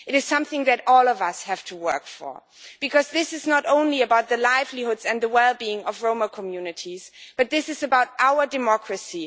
It is something that all of us have to work for because this is not only about the livelihoods and the well being of Roma communities this is about our democracy.